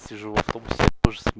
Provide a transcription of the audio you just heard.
сижу в автобусе